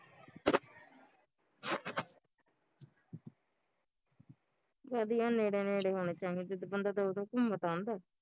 ਵਧੀਆ ਨੇੜੇ ਨੇੜੇ ਹੋਣੇ ਚਾਹੀਦੇ ਜਿਦਾਂ ਬੰਦਾ ਦਵਾ ਦਵ ਘੁਮ ਤਾਂ ਆਉਂਦਾ